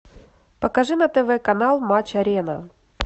покажи на тв канал матч арена